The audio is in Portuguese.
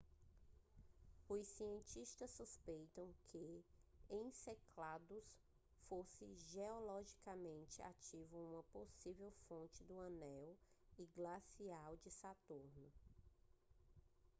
os cientistas suspeitaram que enceladus fosse geologicamente ativo e uma possível fonte do anel e glacial de saturno